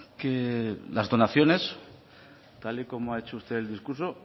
que las donaciones tal y como ha hecho usted el discurso